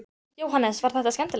Jóhannes: Var þetta skemmtilegt?